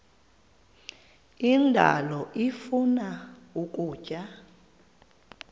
indalo ifuna ukutya